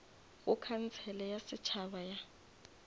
go khansele ya setšhaba ya